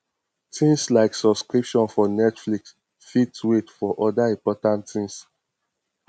things like subscription for netflix fit wait for oda important things